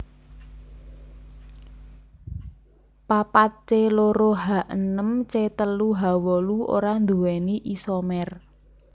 papat C loro H enem C telu H wolu ora nduwéni isomer